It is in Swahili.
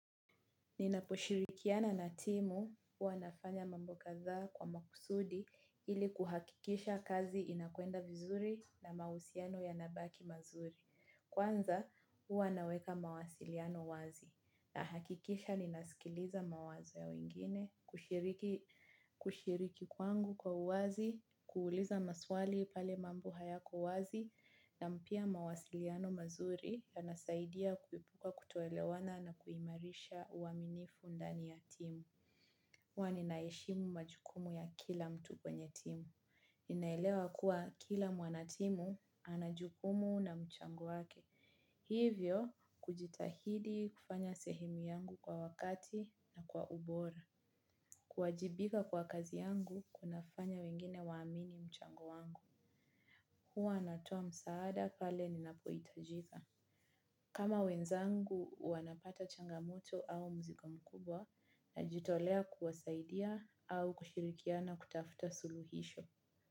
Ninaposhirikiana na timu, huwa nafanya mambo kathaa kwa makusudi ili kuhakikisha kazi inakuenda vizuri na mausiano ya nabaki mazuri. Kwanza, huwa naweka mawasiliano wazi. Na hakikisha ninasikiliza mawazo ya wengine, kushiriki kwangu kwa uwazi, kuuliza maswali pale mambo hayako wazi na mpia mawasiliano mazuri, yanasaidia kuepuka kutoelewana na kuimarisha uaminifu ndani ya timu. Huwa ninaheshimu majukumu ya kila mtu kwenye timu. Inaelewa kuwa kila mwanatimu, anajukumu na mchango wake. Hivyo, kujitahidi kufanya sehemu yangu kwa wakati na kwa ubora. Kuwajibika kwa kazi yangu, kunafanya wengine waamini mchango wangu. Huwa natoa msaada kale ninapoitajika. Kama wenzangu, wanapata changamoto au mzigo mkubwa na jitolea kuwasaidia au kushirikiana kutafuta suluhisho.